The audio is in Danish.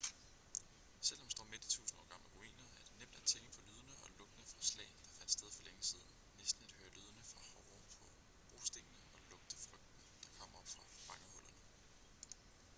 selv når man står midt i tusind år gamle ruiner er det nemt at tænke på lydene og lugtene fra slag der fandt sted for længe siden næsten at høre lydene fra hove på brostenene og lugte frygten der kommer op fra fangehullerne